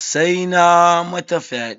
Sai na mata fyaɗe.